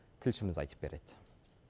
тілшіміз айтып береді